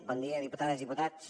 bon dia diputades i diputats